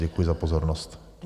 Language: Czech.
Děkuji za pozornost.